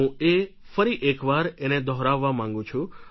હું એ ફરી એક વાર એને દોહરાવવા માંગું છું